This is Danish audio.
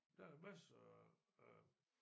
Der er masser af